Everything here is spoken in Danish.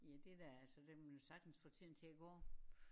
Ja det da altså der kan man jo sagtens få tiden til at gå